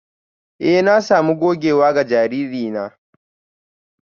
Eh na sami gogewa ga jariri na